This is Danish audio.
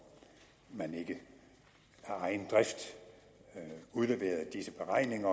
man ikke af egen drift udleverede disse beregninger